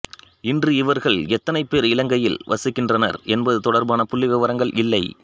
இன்று இவர்கள் எத்தனைப் பேர் இலங்கையில் வசிக்கின்றனர் என்பது தொடர்பான புள்ளிவிபரங்கள் இல்லை